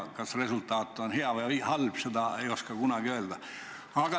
Kas resultaat on hea või halb, seda ei oska kunagi öelda.